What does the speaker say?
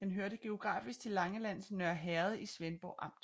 Den hørte geografisk til Langelands Nørre Herred i Svendborg Amt